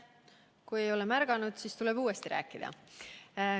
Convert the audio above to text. Kui ei ole märganud, siis tuleb uuesti rääkida.